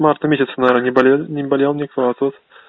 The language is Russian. марта месяца наверное не болели не болел никто а тут